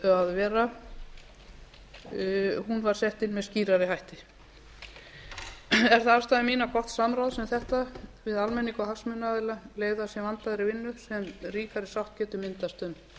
að vera var sett inn með skýrari hætti er það afstaða mín að gott samráð sem þetta við almenning og hagsmunaaðila leiði af sér vandaðri vinnu sem ríkari sátt getur myndast um